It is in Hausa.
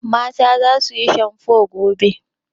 Mata za su yi shamfo gobe.